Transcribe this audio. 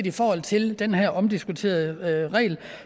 i forhold til den her omdiskuterede regel